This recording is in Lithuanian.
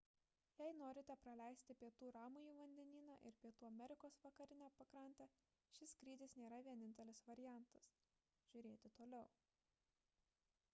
jei norite praleisti pietų ramųjį vandenyną ir pietų amerikos vakarinę pakrantę šis skrydis nėra vienintelis variantas žr. toliau